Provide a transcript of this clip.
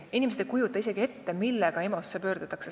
Enamasti keegi ei kujuta isegi ette, mille kõigega EMO-sse pöördutakse.